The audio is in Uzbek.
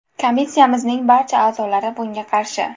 Komissiyamizning barcha a’zolari bunga qarshi.